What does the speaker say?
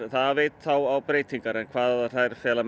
það veit þá á breytingar en hvað þær fela